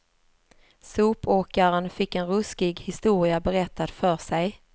Sopåkaren fick en ruskig historia berättad för sig.